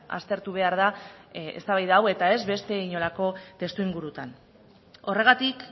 aztertu behar da eztabaida hau eta ez beste inolako testuingurutan horregatik